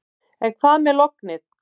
En hvað með lognið.